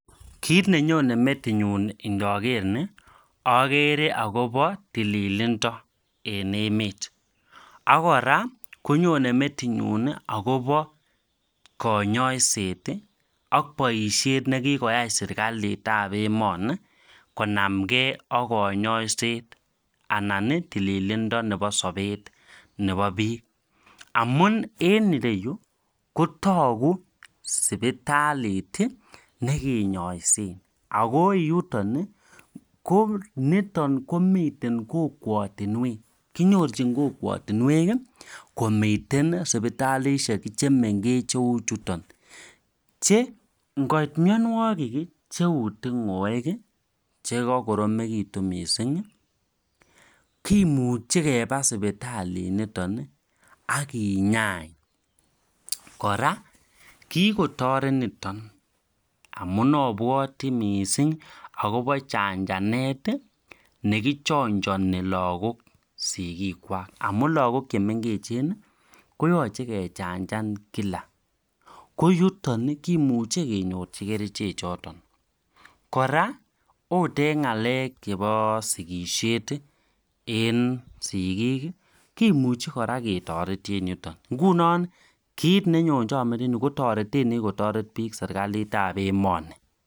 Kit nenyone Meti nyu ndager ni agere akobo tililindo en emet akora konyone metinyu akobo kanyoiset ak boisyet nekikwai serekalit ab emoji konamgei ak kanyoiset anan ko tililindo nebo sabet Nebo bik amun en ire yu kotaku sibitalit nekinyoisen ako yuton kenyorchikei eng kokwatunwek che ngoit mnywanwokik cheu tingoek chekakoromitu mising kimuchi keba sipitaliniton akinyain kora kikotoret niton amun abwoti mising akobo chanjanet nekichinjoni lagok sikikwak amu lakok koyachei kechanjan kenyorunen kericho chutok ako kora kotareti sikisiet ab chebyosok